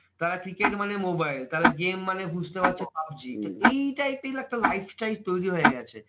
তারা cricket মানে mobile, তারা game মানে বুঝতে পাচ্ছে পাবজী। তো এই type এর একটা lifestyle তৈরী হয়ে গেছে।